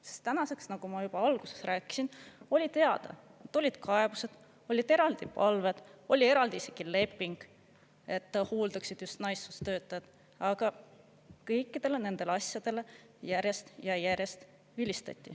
Sest tänaseks, nagu ma juba alguses rääkisin, oli teada, tulid kaebused, olid eraldi palved, oli eraldi isegi leping, et hooldaksid just naissoost töötajad, aga kõikidele nendele asjadele järjest ja järjest vilistati.